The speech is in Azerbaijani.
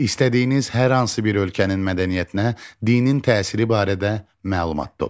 İstədiyiniz hər hansı bir ölkənin mədəniyyətinə dinin təsiri barədə məlumat toplayın.